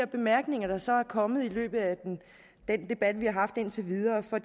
bemærkninger der så er kommet i løbet af den debat vi har haft indtil videre for